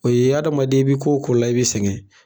O ye adamaden i bɛ ko ko la i bɛ sɛgɛn.